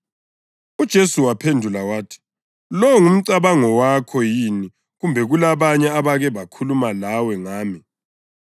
UJesu waphendula wathi, “Lowo ngumcabango wakho yini kumbe kulabanye abake bakhuluma lawe ngami?”